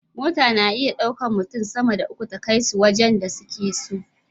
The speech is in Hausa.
Mota na iya ɗaukan mutun sama da uku ta kai su wajan da suke so